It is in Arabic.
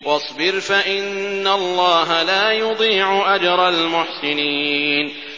وَاصْبِرْ فَإِنَّ اللَّهَ لَا يُضِيعُ أَجْرَ الْمُحْسِنِينَ